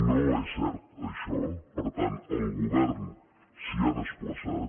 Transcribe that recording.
no és cert això per tant el govern s’hi ha desplaçat